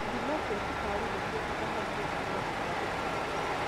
Ithimo cia cukari ni cia bata harĩ kũgundũra cukari tene.